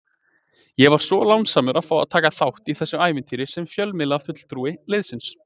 Ég var svo lánsamur að fá að taka þátt í þessu ævintýri sem fjölmiðlafulltrúi liðsins.